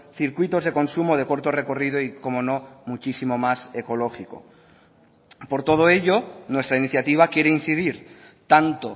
circuitos de consumo de corto recorrido y cómo no muchísimo más ecológico por todo ello nuestra iniciativa quiere incidir tanto